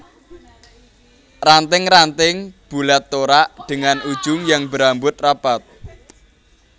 Ranting ranting bulat torak dengan ujung yang berambut rapat